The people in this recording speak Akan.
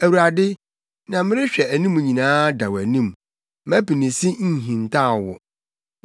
Awurade, nea merehwɛ anim nyinaa da wʼanim; mʼapinisi nhintaw wo.